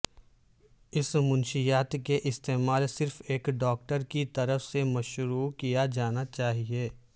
اس منشیات کے استعمال صرف ایک ڈاکٹر کی طرف سے مشروع کیا جانا چاہئے